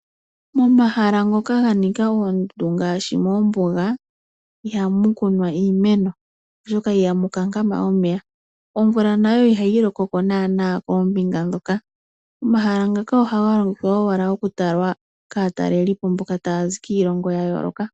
Momahala ngoka ga nika oondundu ngaashi moombuga iha mu kunwa iimeno, oshoka ihamu talama omeya omvula nayo iha yi lokoko naana koombinga ndhoka. Omahala ngaka oha ga longithwa owala okutalwa kaatalelipo mboka taya zi kiilongo ya yooloka.